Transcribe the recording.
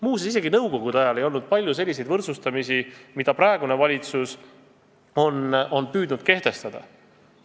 Muuseas, isegi nõukogude ajal ei olnud palju sellist võrdsustamist, mida praegune valitsus on püüdnud kehtestada.